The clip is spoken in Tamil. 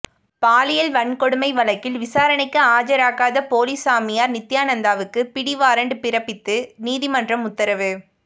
பாலியல் வன்கொடுமை வழக்கில் விசாரணைக்கு அஜராகாத போலி சாமியார் நித்தியானந்தாவுக்கு பிடிவாரண்ட் பிறப்பித்து நீதிமன்றம் உத்தரவு